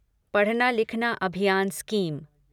पढ़ना लिखना अभियान स्कीम